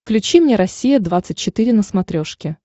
включи мне россия двадцать четыре на смотрешке